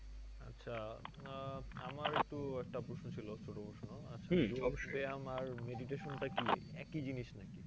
আচ্ছা আহ আমার একটু একটা প্রশ্ন ছিল ছোট প্রশ্ন আমার meditation টা কী একই জিনিস নাকি?